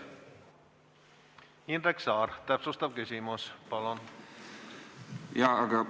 Indrek Saar, täpsustav küsimus, palun!